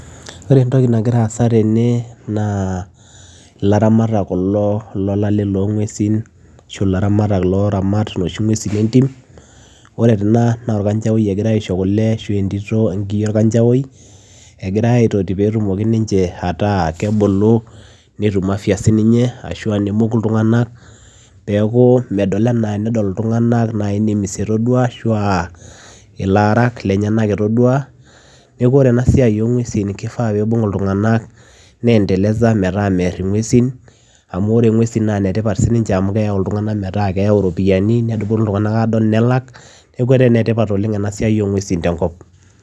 Oree entokii nagiraa aasa tene naa ilaramatak kulo lolale loonguesin oree enaa naa olkanjawoi igirae iiashoo kule payie etum afya ashua emokuu ilntunganak peyiee eekuu tenedol ilntunganak nemedol enaa enemies neekuu oree ena siai oo ngueshin kifaa peyiee ibung ilntunganak neendeleza metaa merr inguesin amuu inetipat sii ninje amuu keyau iropiyianii tenepununui adol neeku enetipat